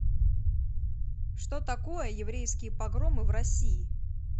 что такое еврейские погромы в россии